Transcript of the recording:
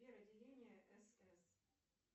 сбер отделение сс